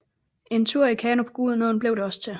En tur i kano på Gudenåen bliver det også til